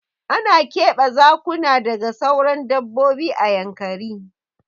Ana keɓe Zakuna daga sauran dabbobi a Yankari.